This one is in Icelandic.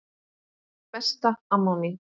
Þú varst besta amma mín.